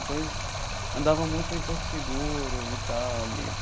Então eles andavam muito em Porto Seguro e tal, ali.